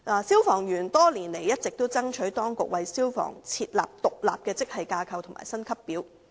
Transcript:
消防員多年來一直爭取當局為他們設立獨立的職系架構及薪級表。